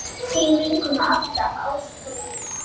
Þín vinkona alltaf, Ása Þórdís.